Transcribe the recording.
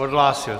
Odhlásil.